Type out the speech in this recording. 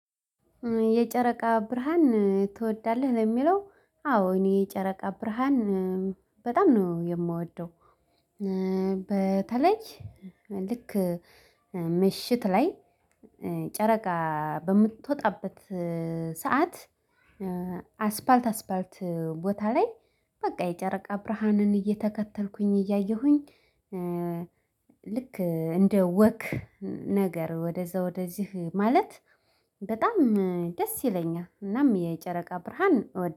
የጨረቃ ብርሃን ትወዳለህ? ለሚለው አዎ እኔ የጨረቃ ብርሃን በጣም ነው የምወደው። በተለይ ልክ ምሽት ላይ ጨረቃ በምትወጣበት ሰዓት አስፓልት አስፓልት ቦታ ላይ በቃ የጨረቃ ብርሃንን እየተከተልኩኝ እያየሁኝ። ልክ እንደ ወክ ነገር ወደዛ ወደዚህ ማለት በጣም ደስ ይለኛል። እናም የጨረቃ ብርሃን እወ